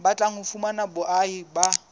batlang ho fumana boahi ba